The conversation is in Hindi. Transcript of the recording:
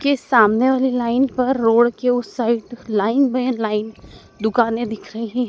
कि सामने वाली लाइन पर रोड के उस साइड लाइन दुकाने दिख रही--